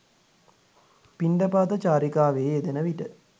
පිණ්ඩපාත චාරිකාවේ යෙදෙන විට